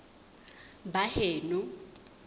baheno